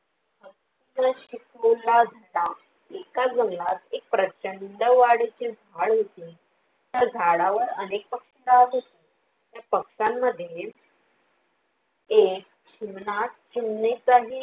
एका जंगलात एक प्रचंड वाडेचे झाड होते. त्या झाडावर अनेक पक्षी राहत होती त्या पक्ष्यांमध्ये एक चिमणा चिमणी चा हि